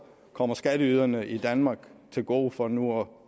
kommer skatteyderne i danmark til gode for nu